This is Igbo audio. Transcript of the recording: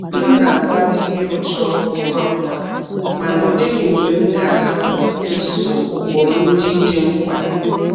M na-agbalị ịrụcha ọrụ ngwa ngwa mana ọ dịghị mgbe m ga-ahapu iso ụkpụrụ ndị dị mkpa.